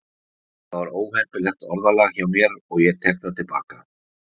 Þetta var óheppilegt orðalag hjá mér og ég tek það til baka.